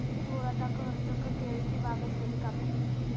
चोराचा कहर, चक्क केळीची बागच नेली कापून!